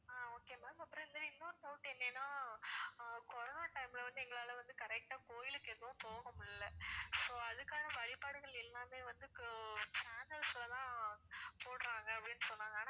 ஆஹ் okay ma'am அப்புறம் வந்து இன்னொரு doubt என்னன்னா ஆஹ் corona time ல வந்து எங்களால வந்து correct ஆ கோயிலுக்கு எதுவும் போக முடியல so அதுக்காக வழிபாடுகள் எல்லாமே வந்து இப்போ channels ல எல்லாம் போடுறாங்க அப்பிடின்னு சொன்னாங்க